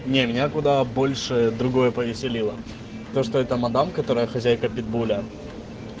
не меня куда больше другое повеселило то что эта мадам которая хозяйка питбуля